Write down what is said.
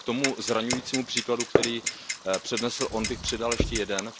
K tomu zraňujícímu příkladu, který přednesl on, bych přidal ještě jeden.